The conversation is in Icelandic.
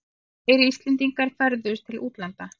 Fleiri Íslendingar ferðuðust til útlanda